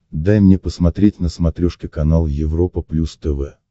дай мне посмотреть на смотрешке канал европа плюс тв